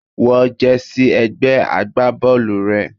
Wọ jersey ẹgbẹ́ agbábọ́ọ̀lù rẹ.